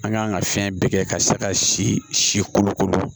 An ka kan ka fɛn bɛɛ kɛ ka se ka si si kolokolo